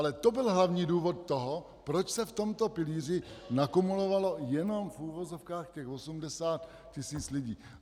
Ale to byl hlavní důvod toho, proč se v tomto pilíři nakumulovalo jenom, v uvozovkách, těch 80 tisíc lidí.